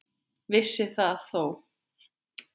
Vissi það þó.